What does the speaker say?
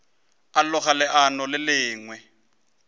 a loga leano le lengwe